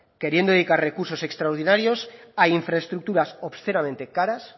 queriendo dedicar recursos extraordinarios a infraestructuras obscenamente caras